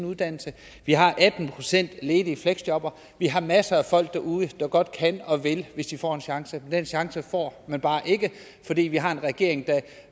uddannelse vi har atten procent ledige fleksjobbere vi har masser af folk derude der godt kan og vil hvis de får en chance men den chance får de bare ikke fordi vi har en regering der